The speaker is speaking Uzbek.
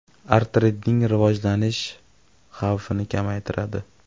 Artritning rivojlanish xavfini kamaytiradi.